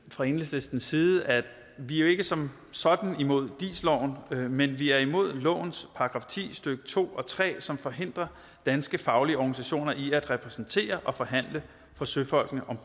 fra enhedslistens side at vi jo ikke som sådan er imod dis loven men vi er imod lovens § ti stykke to og tre som forhindrer danske faglige organisationer i at repræsentere og forhandle for søfolkene om